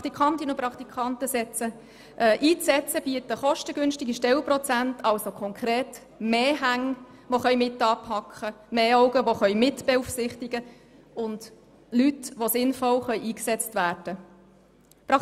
Praktikantinnen und Praktikanten einzusetzen, bietet kostengünstige Stellenprozente, was konkret bedeutet, dass mehr Hände mitanpacken, mehr Augen mitbeaufsichtigen und mehr Leute eingesetzt werden können.